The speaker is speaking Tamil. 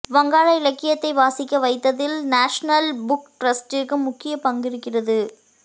வங்காள இலக்கியத்தை வாசிக்க வைத்ததில் நேஷனல் புக்டிரஸ்டிற்கு முக்கிய பங்கிருக்கிறது